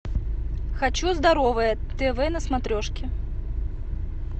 хочу здоровое тв на смотрешке